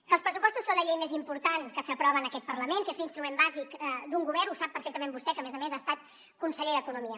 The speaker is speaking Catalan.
que els pressupostos són la llei més important que s’aprova en aquest parlament que és l’instrument bàsic d’un govern ho sap perfectament vostè que a més a més ha estat conseller d’economia